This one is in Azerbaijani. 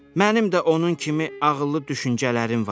Mənim də onun kimi ağıllı düşüncələrim var.